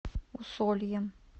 усольем